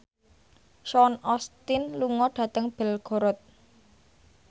Sean Astin lunga dhateng Belgorod